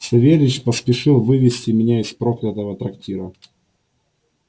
савельич поспешил вывезти меня из проклятого трактира